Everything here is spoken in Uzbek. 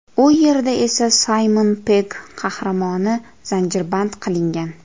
U yerda esa Saymon Pegg qahramoni zanjirband qilingan.